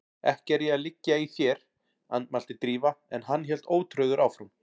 Ekki er ég að liggja í þér- andmælti Drífa en hann hélt ótrauður áfram